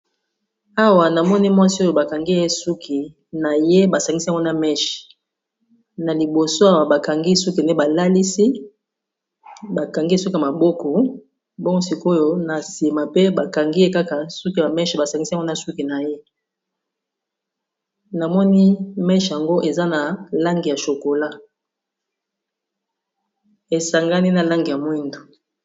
Awa namoni mwasi oyo bakangi ye suki na ye basangisi yango na meche na liboso awa bakangi suki nde ba lalisi bakangi suki ya maboko bongo sikoyo na nsima pe bakangiye kaka suki ya meche basangisi yango suki na ye namoni meche yango eza na langi ya chokola esangani na langi ya mwindu.